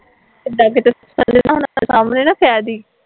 ਇਦਾਂ ਕਿਤੇ ਹੁਣਾ ਦੇ ਸਾਹਮਣੇ ਨਾ ਕਹਿਦੀ